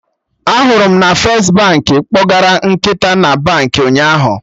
Anụrụ m na mmadụ kpọgara nkịta na Baankị ụnyaahụ